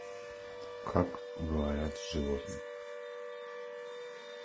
как говорят животные